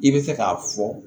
I bɛ fɛ k'a fɔ